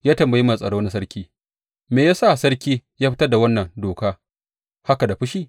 Ya tambayi mai tsaro na sarki, Me ya sa sarki ya fitar da wannan doka haka da fushi?